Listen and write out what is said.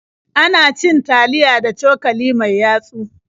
Ana cin taliya da cokali mai yatsu.